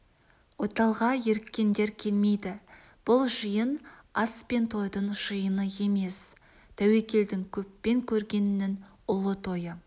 ойталға еріккендер келмейді бұл жиын ас пен тойдың жиыны емес тәуекелдің көппен көргеннің ұлы тойы